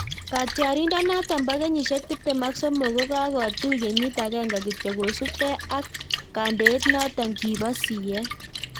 Katyarindet notok poo kenyisiek tiptem ak somok kakotuch kenyiit agenge kityo kosup gei ak kandeet notok kipoo siyet